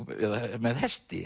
með hesti